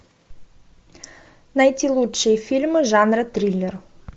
найти лучшие фильмы жанра триллер